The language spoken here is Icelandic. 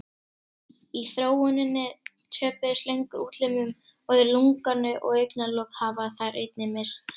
Í þróuninni töpuðu slöngur útlimum og öðru lunganu og augnalok hafa þær einnig misst.